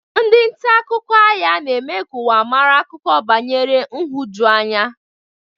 Ndị nta akụkọ agha na-eme ka ụwa mara akụkọ banyere nhụjuanya.